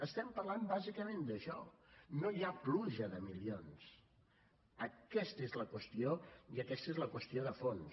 estem parlant bàsicament d’això no hi ha pluja de milions aquesta és la qüestió i aquesta és la qüestió de fons